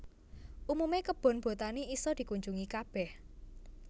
Umume kebon botani iso dikunjungi kabeh